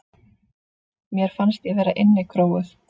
Mér fannst ég vera innikróuð.